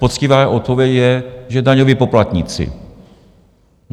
Poctivá odpověď je, že daňoví poplatníci.